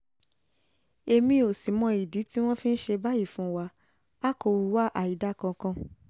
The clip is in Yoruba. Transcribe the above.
èmi ò sì mọ ìdí tí wọ́n fi ń ṣe báyìí fún wa a kò hùwà àìdáa kankan